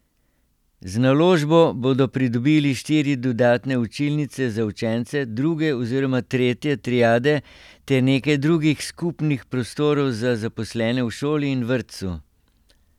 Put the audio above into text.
Z naložbo bodo pridobili štiri dodatne učilnice za učence druge oziroma tretje triade ter nekaj drugih skupnih prostorov za zaposlene v šoli in vrtcu.